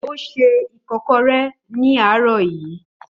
Ó ṣe ikokore ní àárọ̀ yìí